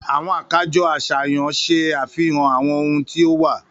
Àwọn akojọ aṣayan ṣe afihan àwọn ohun ti o wa.